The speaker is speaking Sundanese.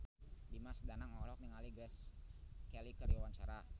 Dimas Danang olohok ningali Grace Kelly keur diwawancara